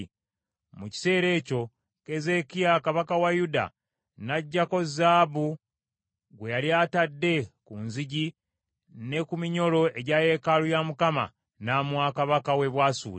Mu kiseera ekyo Keezeekiya kabaka wa Yuda n’aggyako zaabu gwe yali atadde ku nzigi ne ku minyolo egya yeekaalu ya Mukama , n’amuwa kabaka w’e Bwasuli.